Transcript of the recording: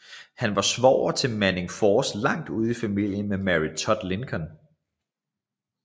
Han var svoger til Manning Force langt ude i familie med Mary Todd Lincoln